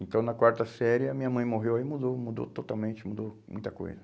Então, na quarta série, a minha mãe morreu e aí mudou, mudou totalmente, mudou muita coisa.